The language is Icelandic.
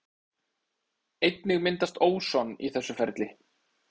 Einnig myndast óson í þessu ferli.